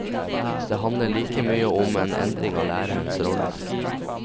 Det handler like mye om en endring av lærerens rolle.